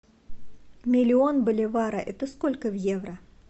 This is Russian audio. миллион боливара это сколько в евро